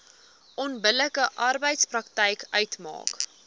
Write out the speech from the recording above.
onbillike arbeidspraktyk uitmaak